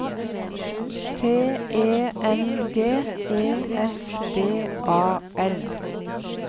T E N G E S D A L